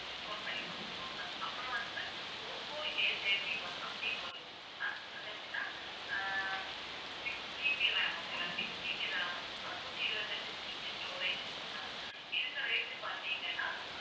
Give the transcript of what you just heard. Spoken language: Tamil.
discount பண்ணி குடுத்துருவாங்க அப்பறம் வந்து ஓப்போ Athirty-one அப்படின்னு ஒண்ணு இருக்கு ma'am அதற்குத்தான் ஆஹ் sixGBramokay வா 6GB RAM நூற்றி இருபத்தி எட்டு GB storage இருக்கு ma'am இதுக்கு rate பார்த்தீங்கன்னா